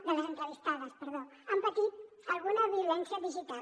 de les entrevistades perdó han patit alguna violència digital